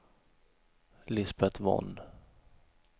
Lisbeth Von